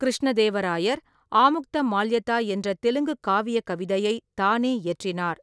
கிருஷ்ணதேவ ராயர் ஆமுக்தமால்யதா என்ற தெலுங்குக் காவியக் கவிதையை தானே இயற்றினார்.